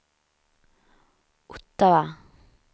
Ottawa